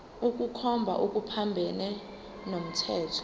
ukukhomba okuphambene nomthetho